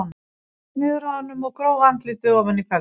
Hún laut niður að honum og gróf andlitið ofan í feldinn.